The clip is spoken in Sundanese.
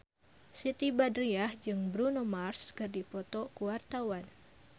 Siti Badriah jeung Bruno Mars keur dipoto ku wartawan